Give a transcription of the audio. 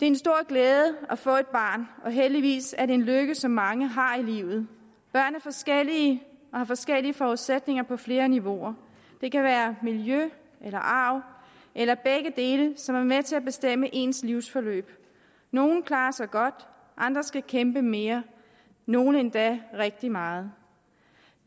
en stor glæde at få et barn og heldigvis er det en lykke som mange har i livet børn er forskellige og har forskellige forudsætninger på flere niveauer det kan være miljø eller arv eller begge dele som er med til at bestemme ens livsforløb nogle klarer sig godt andre skal kæmpe mere nogle endda rigtig meget